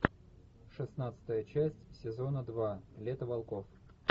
шестнадцатая часть сезона два лето волков